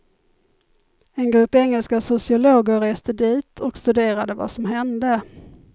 En grupp engelska sociologer reste dit och studerade vad som hände.